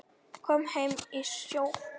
Kom heim í sjokki.